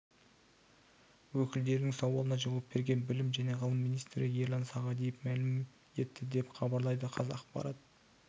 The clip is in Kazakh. өкілдерінің сауалына жауап берген білім және ғылым министрі ерлан сағадиев мәлім етті деп хабарлайды қазақпарат